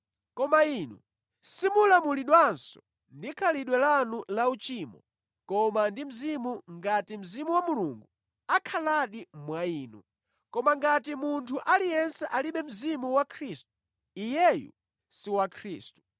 Koma inu simulamulidwanso ndi khalidwe lanu lauchimo koma ndi Mzimu ngati Mzimu wa Mulungu akhaladi mwa inu. Koma ngati munthu aliyense alibe Mzimu wa Khristu, iyeyu si wa Khristu.